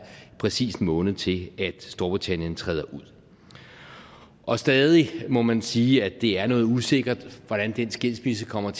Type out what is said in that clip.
præcis en måned til at storbritannien træder ud og stadig må man sige at det er noget usikkert hvordan den skilsmisse kommer